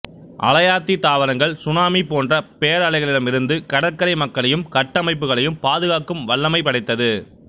அலையாத்தி தாவரங்கள் சுனாமி போன்ற பேரலைகளிடமிருந்து கடற்கரை மக்களையும் கட்டமைப்புகளையும் பாதுகாக்கும் வல்லமை படைத்தது